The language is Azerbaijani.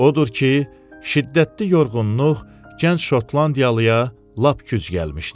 Odur ki, şiddətli yorğunluq gənc şotlandiyalıya lap güc gəlmişdi.